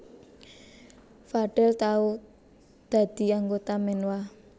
Fadel tau dadi anggota Menwa